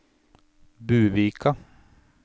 Buvika